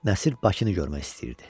Nəsir Bakını görmək istəyirdi.